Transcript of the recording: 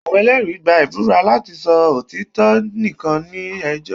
awọn ẹlẹri gba ibúra lati sọ otitọ nikan ni ẹjọ